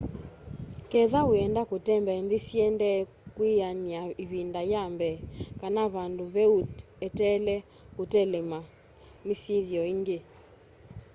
ketha wienda kutembea nthi syiendeye kwiana ivinda ya mbee kana vandu veũ eteela kutelemwa ni syithio ingi